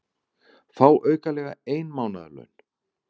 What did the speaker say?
Fá aukalega ein mánaðarlaun